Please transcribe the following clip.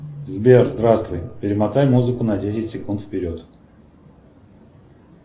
сбер здравствуй перемотай музыку на десять секунд вперед